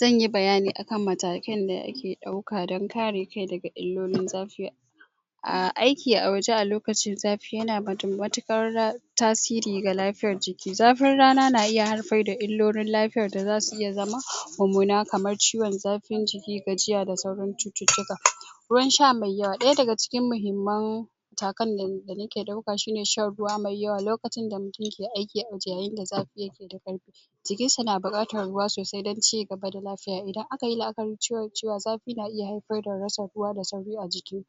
Zanyi bayani akan matakai da ake ɗauka dan kare kai daga illolin zafi aiki a waje a lokacin zafi yana wa mutum mutukar tasiri ga lafiyar jiki, zafin rana na iya haifar da illolin lafiya da zasu iya zama mumuna kamar ciwon zafin jiki, gajiya da sauran cuttutuka ruwan sha me yawa ɗaya daga cikin muhimmun matakan da nake ɗauka shine shan ruwa mai yawa lokacin da mutum ke aiki a yayin da zafi yake da karfi jikin shi na buƙatar ruwa sosai don cigaba da lafiya, idan akayi la'akarin cewa zafi na iya haifar da rasa ruwa da sauri a jiki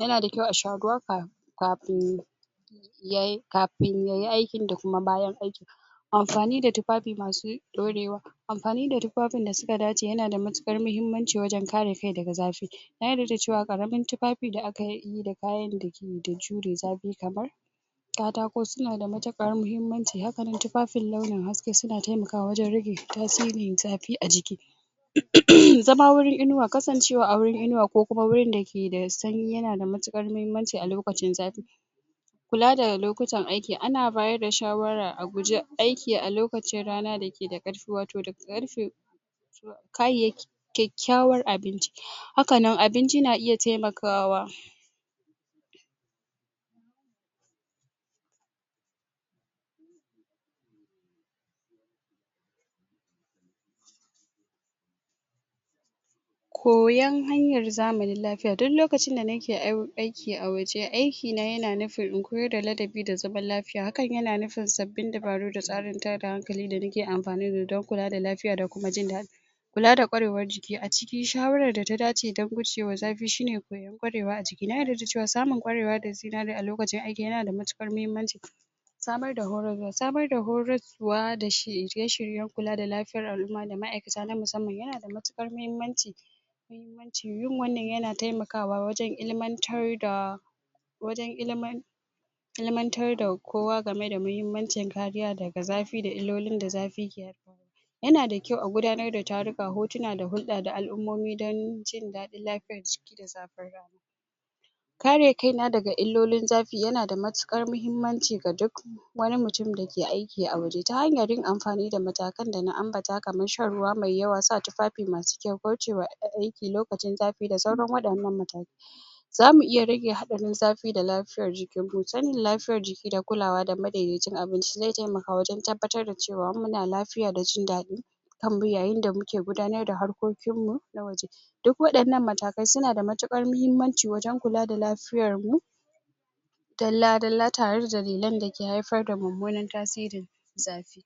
yana da kyau a sha ruwa kafin kafin kafin yay aikin da kuma bayan aikin amfani da tufanin masu ɗorewa, amfani da tufafin da suka dace yana da mutukar muhimmanci wajan kare ka daga zafi na yarda da cewa ƙaramin tufafin da aka yi da kayan dake jure zafi kamar katako suna da mutukar muhimmanci hakanan tufafin launin haske suna taimakawa wajan rage tasirin zafi a jiki zama wurin inuwa, kasanxewa a wurin inuwa kokuma wurin dake da sanyi yana da mutukar muhimmanci a lokacin zafi kula da ga lokutan aiki, ana bayar da shawara a guje aiki a lokacin rana da ke da karfi wato daga karfe kayyayaki kyakyawan abinci hakannan abinci na iya taimakawa koyan hanyar zamanin lafiya, duk lokacin da naka aiki a waje, aiki na yana nufin in koyar da ladabi da zaman lafiya hakan yana nufin sabin dabaru da tsarin tayar da hankali da nake amfani dan kula da lafiya da kuma jindadi kula da ƙwarewar jiki, a cikin shawarar da ta dace dan gujewa zafi shine koyar ƙwarewa a jiki, na yarda da cewa samun ƙwarewa da zinari a lokacin aiki yana da mutukar muhimmanci samar da horo, samar da horo da shirye-shiryen kula da lafiyar al'umma da ma'aikata na musamman yanada mutukar muhimmanci yin wannan yana taimakawa wajan ilimantar da wajan ilimantar ilimantar da kowa gama da muhimmancin kariya daga zafi da illolin da zafi yanada kyau a gudanar da taruka, hotuna da hulɗa, da al'ummomi dan jin dadin lafiyar jiki da zafin rana kare kaina daga illolin zafi yana da mutukar muhimmanci ga duk wani mutum dake aiki a waje, ta hanyar yin amfani da matakai da na ambata kaman shan ruwa mai yawa, sa tufafi masu kyau, goce ma aiki lokacin zafi da sauran wayannan matakai zamu iya rage hatsarin zafi da lafiyar jikinmu, sanda lafiyar jiki da kulawa da madaidaicin abinci ze taimaka wajan tabbatar da cewa muna lafiya da jindadi yayin da muke gudanar da harkokinmu na waje duk wayannan matakai, suna da mutuƙar muhimmanci wajan kula da lafiyarmu dala-dala tare da lellan dake haifar da mumunar tasirin zafi.